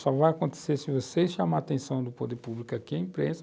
Só vai acontecer se você chamar a atenção do poder público aqui, a imprensa.